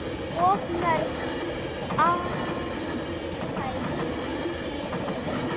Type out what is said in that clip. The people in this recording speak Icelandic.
Of mörg atkvæði í húfi?